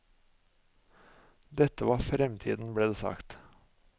Dette var fremtiden, ble det sagt.